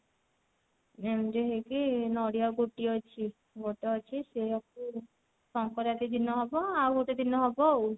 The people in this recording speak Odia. ଏମତି ହେଇକି ନଡିଆ ଗୋଟିଏ ଅଛି ଗୋଟେ ଅଛି ସେଇଆ କୁ ସଙ୍କ୍ରାନ୍ତି ଦିନ ହବ ଆଉ ଗୋଟେ ଦିନ ହବ ଆଉ